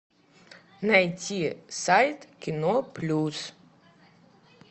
найти сайт кино плюс